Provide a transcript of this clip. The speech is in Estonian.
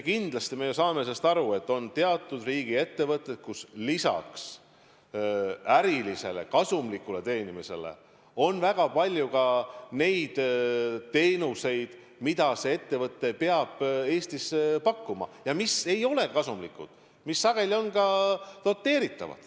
Kindlasti me ju saame sellest aru, et on teatud riigiettevõtteid, kus lisaks ärilisele kasumi teenimisele on väga palju ka neid teenuseid, mida see ettevõte peab Eestis pakkuma ja mis ei ole kasumlikud ning mis sageli on ka doteeritavad.